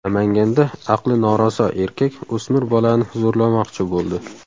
Namanganda aqli noraso erkak o‘smir bolani zo‘rlamoqchi bo‘ldi.